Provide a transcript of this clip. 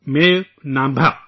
میو نامبہ